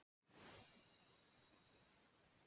Ekki má veiða veturgamla tarfa